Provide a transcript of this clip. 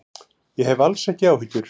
Ég hef alls ekki áhyggjur.